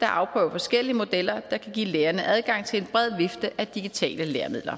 der afprøver forskellige modeller der kan give lærerne adgang til en bred vifte af digitale læremidler